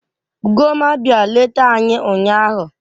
Ugomma bia leta anyi ụnyaahụ